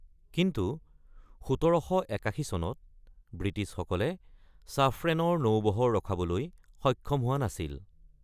কিন্তু ১৭৮১ চনত ব্ৰিটিছসকলে ছাফ্ৰেনৰ নৌবহৰ ৰখাবলৈ সক্ষম হোৱা নাছিল।